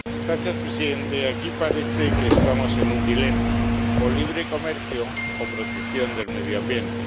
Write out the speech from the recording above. Señor presidente, aquí parece que estamos ante un dilema o libre comercio o protección del medio ambiente.